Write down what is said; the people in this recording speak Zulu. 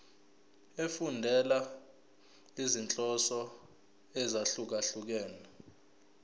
efundela izinhloso ezahlukehlukene